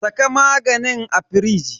Saka maganin a firiji.